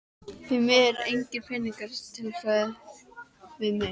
Því miður engir peningar til sögðu þeir við mig.